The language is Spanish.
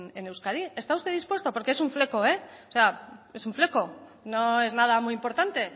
en euskadi está usted dispuesto porque es un fleco es un fleco no es nada muy importante